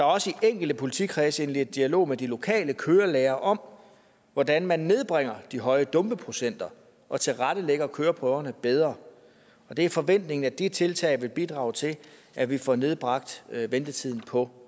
også i enkelte politikredse indledt dialog med de lokale kørelærere om hvordan man nedbringer de høje dumpeprocenter og tilrettelægger køreprøverne bedre det er forventningen at de tiltag vil bidrage til at vi får nedbragt ventetiden på